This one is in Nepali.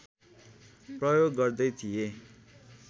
प्रयोग गर्दै थिए